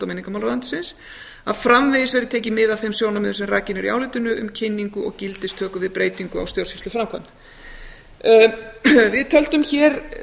menningarmálaráðuneytisins að framvegis verði tekin mið af þeim sjónarmiðum sem rakin eru í álitinu um kynningu og gildistöku við breytingu á stjórnsýsluframkvæmd við töldum hér